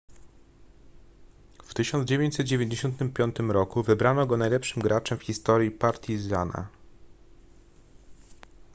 w 1995 roku wybrano go najlepszym graczem w historii partizana